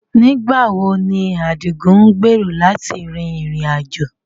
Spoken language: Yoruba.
Nigbawo ni Adigun ngbero lati rin irin-ajo?